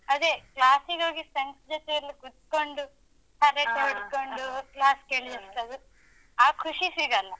ಅದೆ class ಗೋಗಿ friend's ಜೊತೆಯಲ್ಲಿ ಕೊತ್ಕೊಂಡು, ಹರಟೆ ಹೊಡ್ಕೊಂಡೂ, class ಕೇಳ್ಸ್ಕೊಂಡು, ಆ ಖುಷಿ ಸಿಗಲ್ಲ.